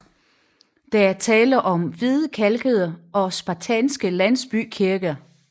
Der er tale om små hvidkalkede og spartanske landsbykirker